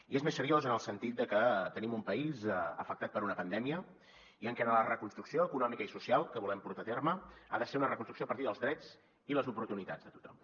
i és més seriós en el sentit de que tenim un país afectat per una pandèmia i en què la reconstrucció econòmica i social que volem portar a terme ha de ser una reconstrucció a partir dels drets i les oportunitats de tothom